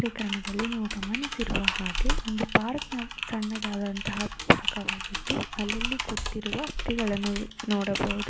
ಈ ಚಿತ್ರದಲ್ಲಿ ನೀವು ಗಮನಿಸಿರುವ ವಂದು ಪಾರ್ಕ ಣ್ಣದಾದಂತವಾದ ಅಲ್ಲಲ್ಲಿ ಕುಳಿತಿರುವ ವ್ಯಕ್ತಿಗಳನ್ನು ನೋಡಬಹುದು.